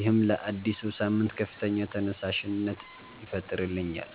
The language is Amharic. ይህም ለአዲሱ ሳምንት ከፍተኛ ተነሳሽነት ይፈጥርልኛል።